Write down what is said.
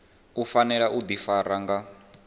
u fanela u ḓifara nga